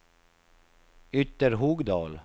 Ytterhogdal